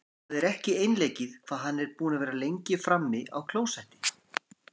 Það er ekki einleikið hvað hann er búinn að vera lengi frammi á klósetti!